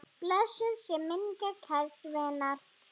Blessuð sé minning kærs vinar.